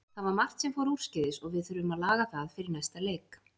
Það var margt sem fór úrskeiðis og við þurfum að laga það fyrir næsta leik.